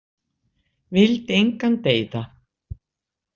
Vildi engan deyða.